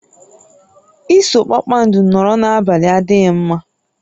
Iso kpakpando nọrọ n'abalị adịghị mma